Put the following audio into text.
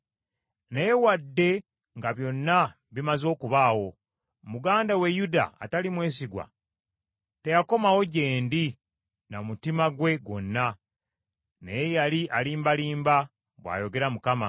Naye wadde nga byonna bimaze okubaawo, muganda we Yuda atali mwesigwa, teyakomawo gye ndi na mutima gwe gwonna, naye yali alimbalimba,” bw’ayogera Mukama .